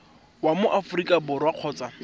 wa mo aforika borwa kgotsa